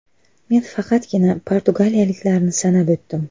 Men faqatgina portugaliyaliklarni sanab o‘tdim.